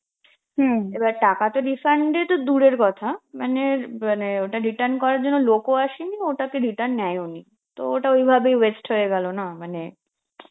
এবার টাকাতো refund এতো দূরের কথা, মানে~ মানে ওটা return করার জন্য লোকও আসেনি, ওটাকে return নেয়ওনি, তো ওইটা ওই ভাবেই waste হয়ে গেল না মানে